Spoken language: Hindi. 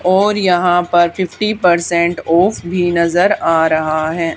और यहां पर फिफ्टी परसेंट ऑफ भी नजर आ रहा है।